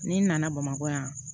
N'i nana bamakɔ yan